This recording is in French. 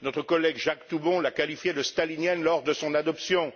Notre collègue Jacques Toubon l'a qualifiée de stalinienne lors de son adoption.